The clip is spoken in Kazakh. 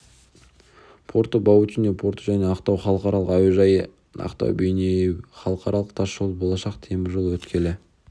порты баутино порты мен ақтау халықаралық әуежайы ақтау-бейнеу халықаралық тас жолы болашақ темір жол өткелі